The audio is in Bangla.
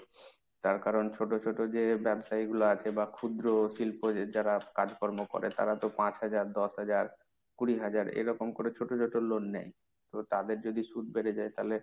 তার কারণ ছোট ছোট যে ব্যবসায়ীগুলো আছে বা ক্ষুদ্র শিল্প যারা কাজকর্ম করে তারা তো পাঁচ হাজার, দশ হাজার, কুড়ি হাজার এরকম করে ছোট ছোট loan নেয়। তো তাদের যদি সুদ বেড়ে যায় তালে,